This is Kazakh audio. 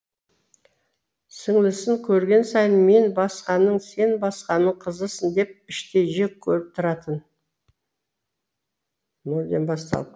сіңлісін көрген сайын мен басқаның сен басқаның қызысың деп іштей жек көріп тұратын